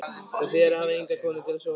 Það þýðir að hafa enga konu til að sofa hjá.